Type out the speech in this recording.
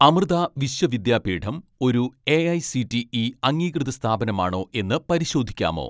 അമൃത വിശ്വവിദ്യാപീഠം ഒരു എ.ഐ.സി.ടി.ഇ അംഗീകൃത സ്ഥാപനമാണോ എന്ന് പരിശോധിക്കാമോ